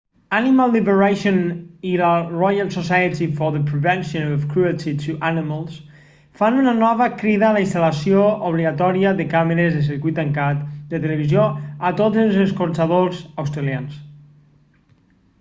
animal liberation i la royal society for the prevention of cruelty to animals rpsca fan una nova crida a la instal·lació obligatòria de càmeres de circuit tancat de televisió a tots els escorxadors australians